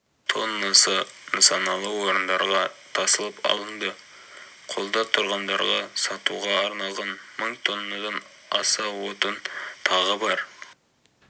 тоннасы нысаналы орындарға тасылып алынды қолда тұрғындарға сатуға арналған мың тоннадан аса отын тағы бар